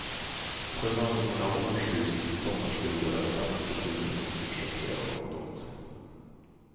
Förvandlingen av årshus till sommarstugor är ett annat bekymmer vi måste försöka göra något åt.